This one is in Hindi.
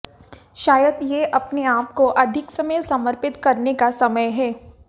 शायद यह अपने आप को अधिक समय समर्पित करने का समय है